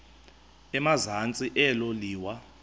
emazantsi elo liwa